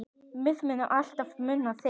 Við munum alltaf muna þig.